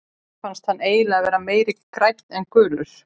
Mér finnst hann eiginlega vera meira grænn en gulur.